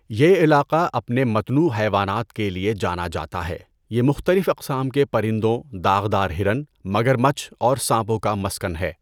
یہ علاقہ اپنے متنوع حیوانات کے لیے جانا جاتا ہے، یہ مختلف اقسام کے پرندوں، داغ دار ہرن، مگرمچھ اور سانپوں کا مسکن ہے۔